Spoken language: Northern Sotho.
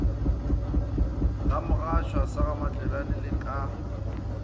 gamogashoa sa gamatlebjane le ka